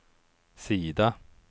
sida